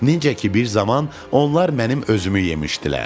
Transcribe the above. Necə ki bir zaman onlar mənim özümü yemişdilər.